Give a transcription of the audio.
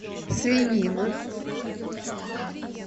свинина